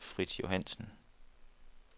Frits Johannesen